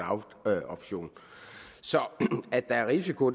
option så at der er risiko